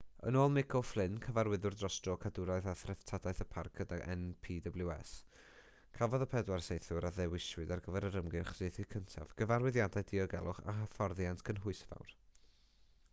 yn ôl mick o'flynn cyfarwyddwr dros dro cadwraeth a threftadaeth y parc gyda npws cafodd y pedwar saethwr a ddewiswyd ar gyfer yr ymgyrch saethu cyntaf gyfarwyddiadau diogelwch a hyfforddiant cynhwysfawr